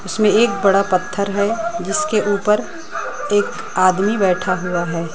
उसमें एक बड़ा पत्थर है जिसके ऊपर एक आदमी बैठा हुआ है।